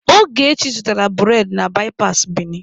Ogechi zụtaara bụredị na baipasị Bini.